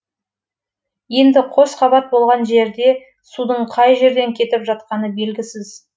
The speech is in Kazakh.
енді қос қабат болған жерде судың қай жерден кетіп жатқаны белгісіз